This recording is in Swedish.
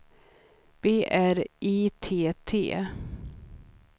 B R I T T